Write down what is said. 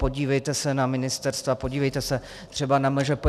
Podívejte se na ministerstva, podívejte se třeba na MŽP.